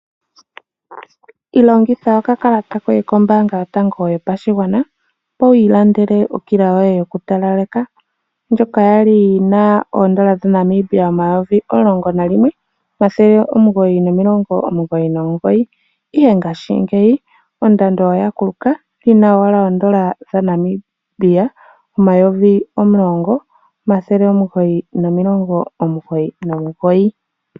Longitha okakalata koye kombaanga yotango yopashigwana, opo wi ilandele okila yoye yokutalaleka. Ndjoka ya li yi na N$ 11 999, ihe ngaashingeyi ondando oya kuluka yi na owala N$ 10 999.